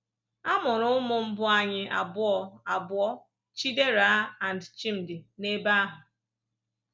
A mụrụ ụmụ mbụ anyị abụọ, abụọ, Chidera and Chimdi, n'ebe ahụ.